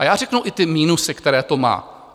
A já řeknu i ty minusy, které to má.